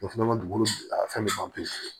O fana ka dugukolo a fɛn bɛ ban pewu